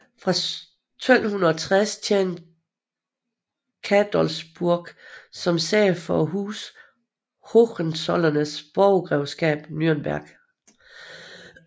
Fra 1260 tjente Cadolzburg som sæde for Huset Hohenzollernes borgrevskab Nürnberg